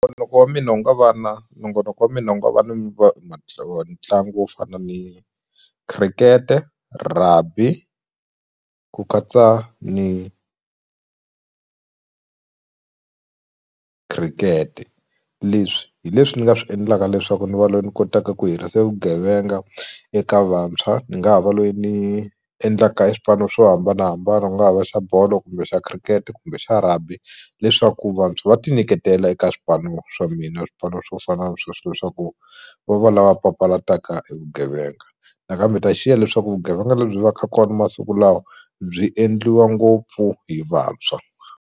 Nongonoko wa mina wu nga va na nongonoko wa mina wu nga va na ntlangu wo fana ni khirikete rugby ku katsa ni khirikete leswi hi leswi ni nga swi endlaka leswaku ni va loyi ni kotaka ku hirisa vugevenga eka vantshwa ni nga ha va loyi ni endlaka e swipano swo hambanahambana ku nga ha va xa bolo kumbe xa khirikete kumbe xa rugby leswaku vantshwa va ti nyiketela eka swipano swa mina swipano swo fana ni sweswo leswaku va va lava papalataka e vugevenga nakambe ta xiya leswaku vugevenga lebyi va ka kona masiku lawa byi endliwa ngopfu hi vantshwa.